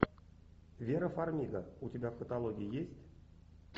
вера фармига у тебя в каталоге есть